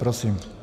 Prosím.